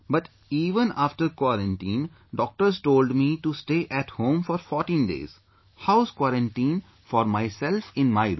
But even after quarantine, doctors told me to stay at home for 14 days...House quarantine for myself in my room